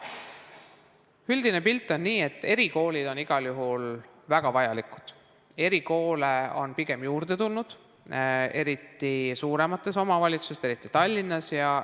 Üldine pilt on see, et erikoolid on igal juhul väga vajalikud, erikoole on pigem juurde tulnud, eriti suuremates omavalitsustes, eriti Tallinnas.